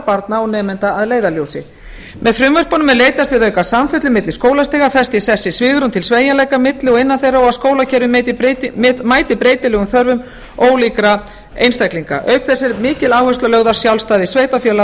barna og nemenda að leiðarljósi með frumvörpunum er leitast við að auka samfellu milli skólastiga festa í sessi svigrúm til sveigjanleika milli og innan þeirra og að skólakerfið mæti breytilegum þörfum ólíkra einstaklinga auk þess er mikil áhersla lögð á sjálfstæði sveitarfélaga